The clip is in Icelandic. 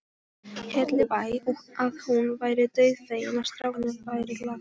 Hellubæ að hún væri dauðfegin að strákarnir væru lagstir.